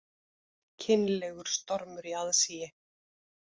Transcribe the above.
Kynlegur stormur í aðsigi